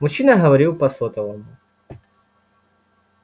мужчина говорил по сотовому